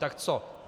Tak co?